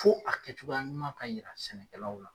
Fo a kɛcogoya ɲuman ka yira sɛnɛkɛlaw la.